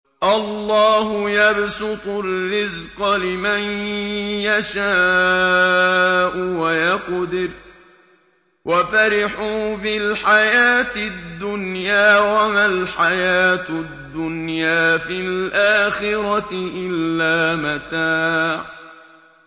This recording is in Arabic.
اللَّهُ يَبْسُطُ الرِّزْقَ لِمَن يَشَاءُ وَيَقْدِرُ ۚ وَفَرِحُوا بِالْحَيَاةِ الدُّنْيَا وَمَا الْحَيَاةُ الدُّنْيَا فِي الْآخِرَةِ إِلَّا مَتَاعٌ